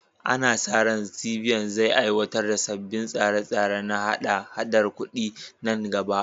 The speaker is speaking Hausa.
Ana sa ran CBN zai aiwatar da sabbin tsare-tsare na haɗa-haɗar kudi nan gaba.